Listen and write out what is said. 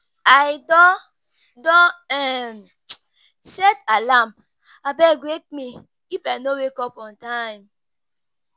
I don don um set alarm, abeg wake me if I no wake on time.